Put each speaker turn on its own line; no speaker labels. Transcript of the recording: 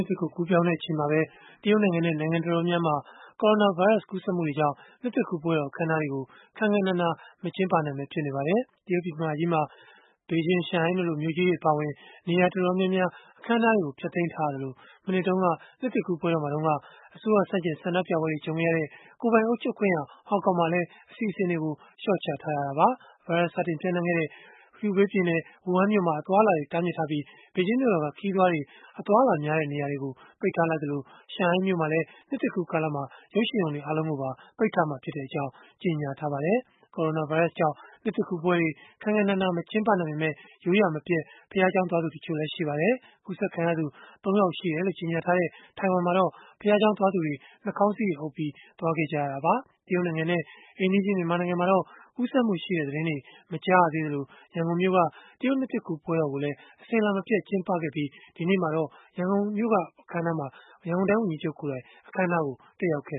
စ်သစ်ကို ကူးပြောင်းတဲ့ အချိန်မှာပဲ တရုတ်နိုင်ငံနဲ့ နိုင်ငံတော်တော်များများမှာ Corona ဗိုင်းရပ်စ် ကူးစက်မှုတွေကြောင့် နှစ်သစ်ကူးပွဲတော် အခမ်းအနားတွေကို ခမ်းခမ်းနားနား မကျင်းပနိုင်ဘဲ ဖြစ်နေပါတယ်။ တရုတ်ပြည်မကြီးမှာ ဘေဂျင်း၊ ရှန်ဟိုင်းတို့လို မြို့ကြီးတွေ အပါအဝင် နေရာတော်တော်များများ အခမ်းအနားတွေကို ဖျက်သိမ်းထားရသလို မနှစ်တုန်းက နှစ်သစ်ကူးပွဲမှာတုန်းက အစိုးရဆန့်ကျင် ဆန္ဒပြပွဲတွေ ကြုံခဲ့ရတဲ့ ကိုယ်ပိုင်အုပ်ချုပ်ခွင့်ရ ဟောင်ကောင်မှာလည်း အစီအစဉ်တွေကို လျှော့ချထားရတာပါ။ ဗိုင်းရပ်စ်စတင်ပျံ့နှံ့ခဲ့တဲ့ Hubei ပြည်နယ် ဝူဟန်မြို့မှာ အသွားအလာတွေ တားမြစ်ထားပြီး ဘေဂျင်းမြို့တော်က ခရီးသွားတွေ အသွားအလာများတဲ့ နေရာတွေကို ပိတ်ထားလိုက်သလို ရှန်ဟိုင်းမြို့မှာလည်း နှစ်သစ်ကူးကာလမှာ ရုပ်ရှင်ရုံတွေ အားလုံးကိုပါ ပိတ်ထားမှာဖြစ်ကြောင်း ကြေညာထားပါတယ်။ Corona ဗိုင်းရပ်စ်ကြောင့် နှစ်သစ်ကူးပွဲတွေ ခမ်းခမ်းနားနား မကျင်းပနိုင်ပေမယ့် ရိုးရာမပျက် ဘုရားကျောင်းသွားသူတချို့လည်း ရှိပါတယ်။ ကူးစက်ခံရသူ ၃ ယောက်ရှိတယ်လို့ ကြေညာထားတဲ့ ထိုင်ဝမ်မှာတော့ ဘုရားကျောင်းသွားသူတွေ နှာခေါင်းစည်းတွေအုပ်ပြီး သွားခဲ့ကြရတာပါ။ တရုတ်နိုင်ငံနဲ့ အိမ်နီးချင်း မြန်မာနိုင်ငံမှာတော့ ကူးစက်မှုရှိတဲ့သတင်းတွေ မကြားရသေးသလို ရန်ကုန်မြို့က တရုတ်နှစ်သစ်ကူး ပွဲတော်ကိုလည်း အစဉ်အလာမပျက် ကျင်းပခဲ့ပြီး ဒီကနေ့မှာတော့ ရန်ကုန်တိုင်းဝန်ကြီးချုပ်ကိုယ်တိုင် အခမ်းအနားကို တက်ရောက်ခဲ့